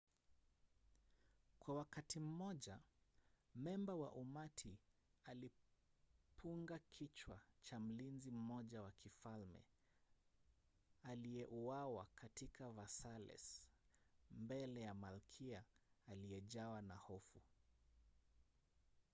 kwa wakati mmoja memba wa umati alipunga kichwa cha mlinzi mmoja wa kifalme aliyeuawa katika versailles mbele ya malkia aliyejawa na hofu